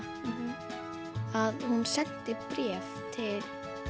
að hún sendi bréf til